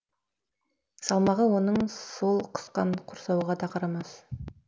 салмағы оның сол қысқан құрсауға да қарамас